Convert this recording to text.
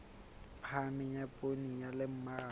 phahameng ya poone le mmaraka